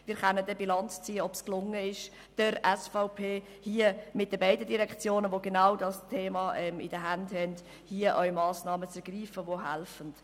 Wir können dann Bilanz ziehen, ob es der SVP mit beiden Direktionen zu genau diesem Thema in den Händen, gelungen ist, hier auch Massnahmen zu ergreifen, die helfen.